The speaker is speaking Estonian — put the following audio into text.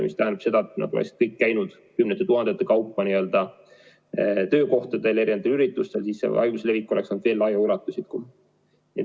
See tähendab seda, et kui nad oleks kõik käinud kümnete tuhandete kaupa töökohtadel, erinevatel üritustel, siis oleks haiguse levik veel laiema ulatusega.